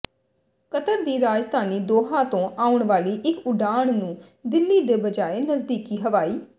Qatar ਦੀ ਰਾਜਧਾਨੀ ਦੋਹਾਂ ਤੋਂ ਆਉਣ ਵਾਲੀ ਇਕ ਉਡਾਣ ਨੂੰ ਦਿੱਲੀ ਦ ਬਜਾਏ ਨਜ਼ਦੀਕੀ ਹਵਾਈ